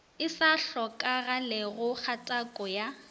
e sa hlokagalego kgatako ya